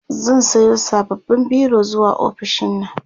zan Sayo sababbin biro zuwa ofishinnan